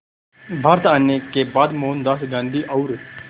भारत आने के बाद मोहनदास गांधी और